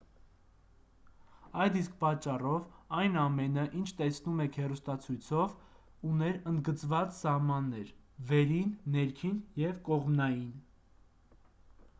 այդ իսկ պատճառով այն ամենը ինչ տեսնում եք հեռուստացույցով ուներ ընդգծված սահմաններ վերին ներքին և կողմնային